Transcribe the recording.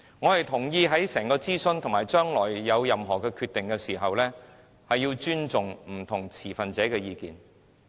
我同意在整個諮詢過程中，以及將來作任何決定前，須尊重不同份持者的意見。